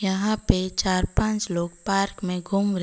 यहां पे चार पांच लोग पार्क में घूम रहे--